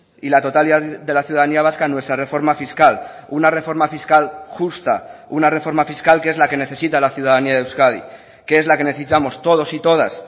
y la totalidad de la ciudadanía vasca nuestra reforma fiscal una reforma fiscal justa una reforma fiscal que es la que necesita la ciudadanía de euskadi que es la que necesitamos todos y todas